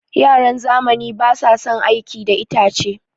Yaran zamani basu son aiki da itace.